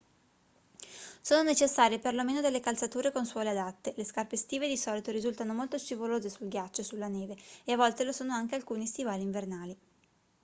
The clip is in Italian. sono necessarie per lo meno delle calzature con suole adatte le scarpe estive di solito risultano molto scivolose sul ghiaccio e sulla neve e a volte lo sono anche alcuni stivali invernali